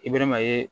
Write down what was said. I bɛ ma ye